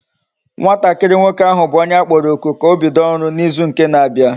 Nwatakiri nwoke ahu bu onye akporo oku ka obido oru na izu nke na abia